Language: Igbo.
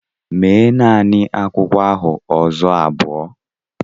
Mee naanị akwụkwọ ahụ ụzọ abụọ!